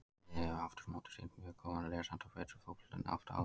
Liðið hefur afturámóti sýnt mjög góðan liðsanda og betri fótbolta en oft áður.